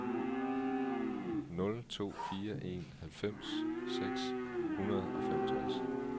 nul to fire en halvfems seks hundrede og femogtres